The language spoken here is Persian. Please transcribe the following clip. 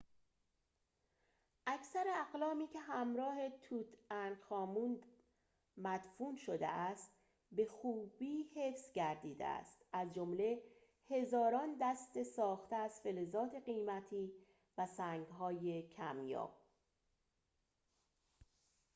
اکثر اقلامی که همراه توت‌عنخ‌آمون مدفون شده است به خوبی حفظ گردیده است از جمله هزاران دست‌ساخته از فلزات قیمتی و سنگ‌های کمیاب